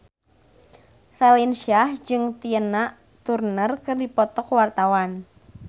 Raline Shah jeung Tina Turner keur dipoto ku wartawan